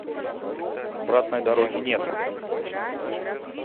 обратной дороги нет